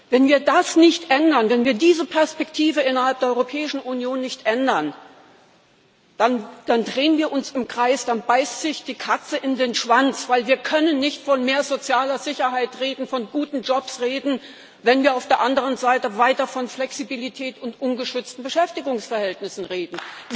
Wenn wir das nicht ändern, wenn wir diese Perspektive innerhalb der Europäischen Union nicht ändern, dann drehen wir uns im Kreis, dann beißt sich die Katze in den Schwanz, weil wir nicht von mehr sozialer Sicherheit, von guten Jobs reden können, wenn wir auf der anderen Seite weiter von Flexibilität und ungeschützten Beschäftigungsverhältnissen reden.